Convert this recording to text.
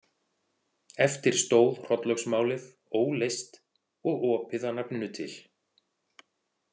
Eftir stóð Hrollaugsmálið óleyst og opið að nafninu til.